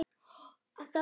Þá fer hún á rauðu.